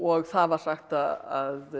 það var sagt að